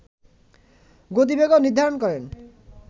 গতিবেগও নির্ধারণ করেন